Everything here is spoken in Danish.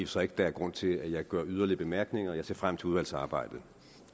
sig ikke der er grund til at jeg gør yderligere bemærkninger jeg ser frem til udvalgsarbejdet